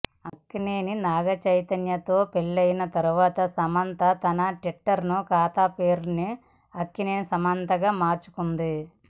అక్కినేని నాగచైతన్యతో పెళ్లి తర్వాత సమంత తన ట్విట్టర్ ఖాతా పేరుని అక్కినేని సమంతగా మార్చుకుంది